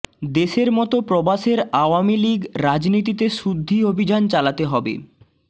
দেশের মত প্রবাসের আওয়ামী লীগ রাজনীতিতে শুদ্ধি অভিযান চালাতে হবে